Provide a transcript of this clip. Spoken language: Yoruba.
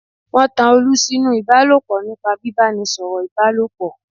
Wọ́n tan olú sí nú Ìbálòpọ̀ nípa bíbánisọ̀rọ̀ Ìbálòpọ̀